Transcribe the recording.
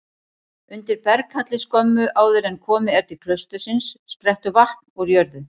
Undir berghalli skömmu áður en komið er til klaustursins sprettur vatn úr jörðu.